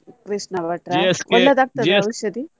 ಕೃಷ್ಣ ಭಟ್ರ ಒಳ್ಳೆದಾಗ್ತದ ಔಷದಿ?